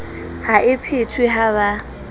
ha e phethwe ha ba